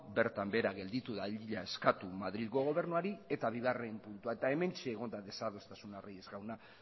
bertan behera gelditu dadila eskatu madrilgo gobernuari eta bigarren puntua eta hementxe egon da desadostasuna reyes jauna